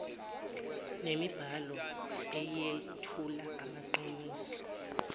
nemibhalo eyethula amaqiniso